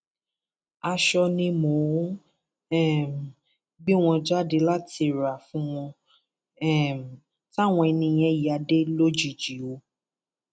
aṣọ ni mo um gbé wọn jáde láti rà fún wọn um táwọn ẹni yẹn ya dé lójijì o